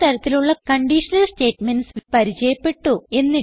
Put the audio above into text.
പല തരത്തിലുള്ള conditional statements പരിചയപ്പെട്ടു